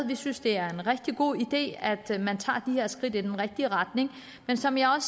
vi synes det er en rigtig god idé at man tager de her skridt i den rigtige retning men som jeg